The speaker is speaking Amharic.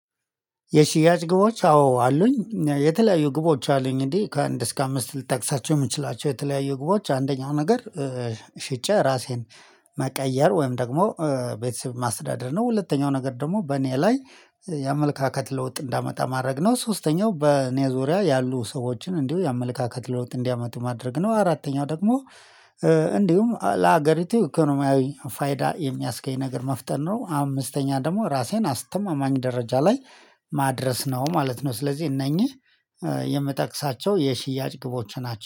የሽያጭ ግቦች አዎ አሉኝ የተለያዩ ግቦች አሉኝ እንዴ ከአንድ እስከ አምስት ልታውቅሳቸው የምትችላቸው የተለያዩ ግቦች አንደኛው ነገር ሽጬ ራሴን መቀየር ወይም ደግሞ ቤተሰብ ማስዳደር ነው ሁለተኛው ነገር ደግሞ በእኔ ላይ የአመለካከት ለውጥ እንዳመጣ ማድረግ ነው ሶስተኛው በእኔ ዙሪያ ያሉ ሰዎችን እንዲሁ የአመለካከት ለውጥ እንዲያመጡ ማድረግ ነው አራተኛው ደግሞ እንዲሁም ለሀገሪቱ ኢኮኖሚያዊ ፋይዳ የሚያስገኝ ነገር መፍጠር ነው አምስተኛ ደግሞ ራሴን አስተማማኝ ደረጃ ላይ ማድረስ ነው ማለት ነው ስለዚህ እነኚህ የምጠቅሳቸው የሽያጭ ግቦች ናቸው።